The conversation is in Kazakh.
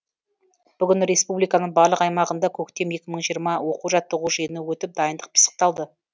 бүгін республиканың барлық аймағында көктем екі мың жиырма оқу жаттығу жиыны өтіп дайындық пысықталды